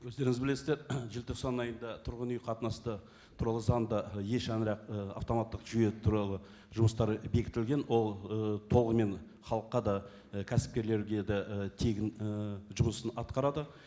өздеріңіз білесіздер желтоқсан айында тұрғын қатынасты туралы заңды е шаңырақ і автоматтық жүйе туралы жұмыстар бекітілген ол ы толығымен халыққа да і кәсіпкерлерге де і тегін і жұмысын атқарады